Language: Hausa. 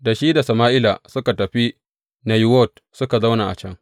Da shi da Sama’ila suka tafi Nayiwot suka zauna a can.